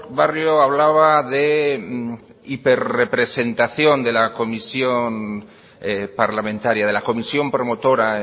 barrio hablaba de hiperrepresentación de la comisión parlamentaria de la comisión promotora